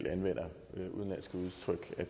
at